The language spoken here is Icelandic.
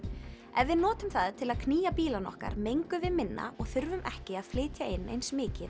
ef við notum það til að knýja bílana okkar mengum við minna og þurfum ekki að flytja eins mikið